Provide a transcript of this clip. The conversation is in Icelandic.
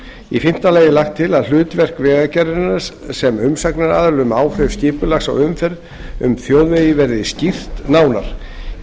í fimmta lagi er lagt til að hlutverk vegagerðarinnar sem umsagnaraðila um áhrif skipulags á umferð um þjóðvegi verði skýrt nánar í